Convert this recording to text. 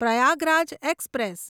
Prayagraj express